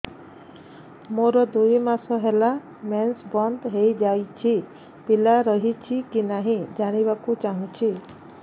ମୋର ଦୁଇ ମାସ ହେଲା ମେନ୍ସ ବନ୍ଦ ହେଇ ଯାଇଛି ପିଲା ରହିଛି କି ନାହିଁ ଜାଣିବା କୁ ଚାହୁଁଛି